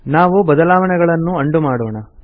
ನಾವು ಬದಲಾವಣೆಯನ್ನು ಅಂಡು ಮಾಡೋಣ